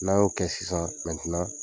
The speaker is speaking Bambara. N'a y'o kɛ sisan mɛntenan